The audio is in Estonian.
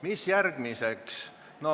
Mis järgmiseks?